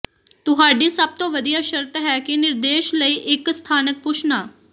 ਤੁਹਾਡੀ ਸਭ ਤੋਂ ਵਧੀਆ ਸ਼ਰਤ ਹੈ ਕਿ ਨਿਰਦੇਸ਼ ਲਈ ਇੱਕ ਸਥਾਨਕ ਪੁੱਛਣਾ